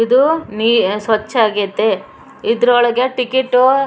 ಇದು ನೀ ಸ್ವಚ್ಚ ಆಗೈತೆ ಇದ್ರೊಳಗೆ ಟಿಕೇಟ್ --